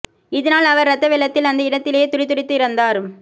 இதனால் அவர் இரத்த வெள்ளத்தில் அந்த இடத்திலே துடிதுடித்து இறந்தார்